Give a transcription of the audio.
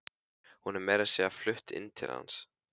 Hún er meira að segja flutt inn til hans.